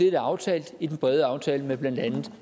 er aftalt i den brede aftale med blandt andet